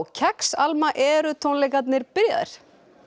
kex Alma eru tónleikarnir byrjaðir